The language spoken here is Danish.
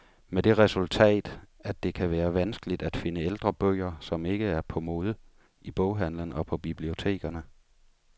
Med det resultat, at det kan være vanskeligt at finde ældre bøger, som ikke er på mode, i boghandelen og på bibliotekerne.